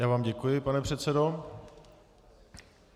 Já vám děkuji, pane předsedo.